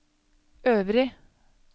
øvrig